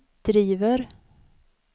driver